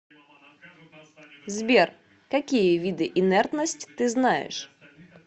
сбер какие виды инертность ты знаешь